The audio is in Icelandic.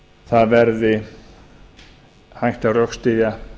það verði hægt að rökstyðja